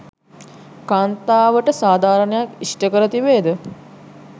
කාන්තාවට සාධාරණයක් ඉෂ්ට කර තිබේ ද?